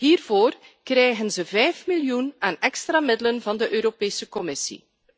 Hiervoor krijgen ze vijf miljoen aan extra middelen van de Europese Commissie.